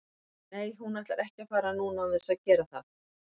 Nei hún ætlar ekki að fara núna án þess að gera það.